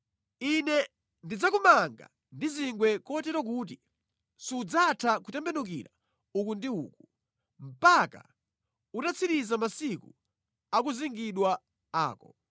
Ine ndidzakumanga ndi zingwe kotero kuti sudzatha kutembenukira uku ndi uku mpaka utatsiriza masiku akuzingidwa ako.